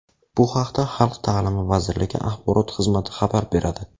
Bu haqda Xalq ta’limi vazirligi Axborot xizmati xabar beradi.